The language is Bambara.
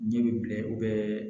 Ɲɛ bɛ bila u bɛɛ